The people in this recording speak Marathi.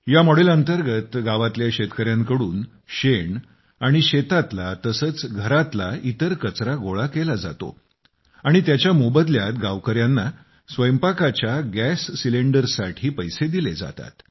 या मॉडेल अंतर्गत गावातल्या शेतकऱ्यांकडून शेण आणि शेतातला तसेच घरातला इतर कचरा गोळा केला जातो आणि त्याच्या मोबदल्यात गावकऱ्यांना स्वयंपाकाच्या गॅस सिलेंडरसाठी पैसे दिले जातात